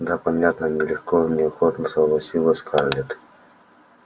да понятно нелегко неохотно согласилась скарлетт